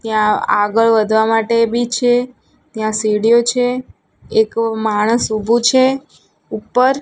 ત્યાં આગળ વધવા માટે ભી છે ત્યાં સિળીઓ છે એક માણસ ઉભું છે ઉપર.